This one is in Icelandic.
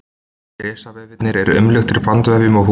Risvefirnir eru umluktir bandvefjum og húð.